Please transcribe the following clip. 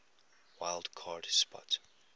wild card spot